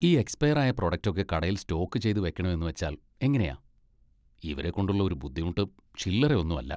ഈ എക്സ്പയർ ആയ പ്രോഡക്ട് ഒക്കെ കടയിൽ സ്റ്റോക്ക് ചെയ്ത് വെക്കണം എന്നുവെച്ചാൽ എങ്ങനെയാ! ഇവരെക്കൊണ്ടുള്ള ഒരു ബുദ്ധിമുട്ട് ചില്ലറ ഒന്നും അല്ല.